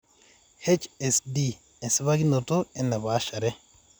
HSD-esipakinoto enepaashare